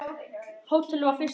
Hótelið var fyrsta flokks.